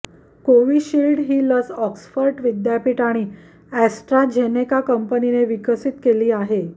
Covishield ही लस Oxford विद्यापीठ आणि अॅस्ट्राझेनेका कंपनीने विकसित केली आहे